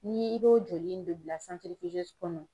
Ni i b'o joli in de bila kɔnɔ.